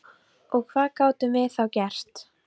Og hvað gátum við þá gert?